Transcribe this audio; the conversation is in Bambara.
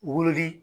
Wololi